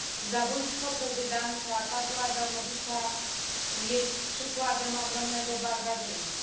Zabójstwo prezydenta Pawła Adamowicza jest przykładem ogromnego barbarzyństwa.